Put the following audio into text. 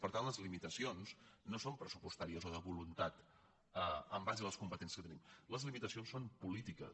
per tant les limitacions no són pres·supostàries o de voluntat en base a les competències que tenim les limitacions són polítiques